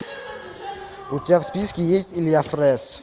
у тебя в списке есть илья фрэз